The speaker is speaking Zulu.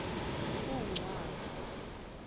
uncwabo